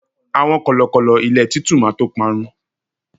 àwọn kọlọkọlọ ilé titu ma to parun